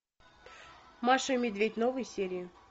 маша и медведь новые серии